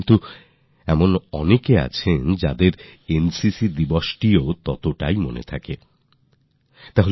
কিন্তু অনেক মানুষ এনসিসিডে টাও মনে রাখেন